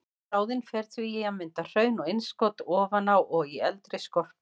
Bráðin fer því í að mynda hraun og innskot ofan á og í eldri skorpu.